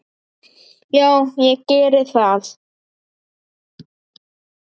Já, ég geri það.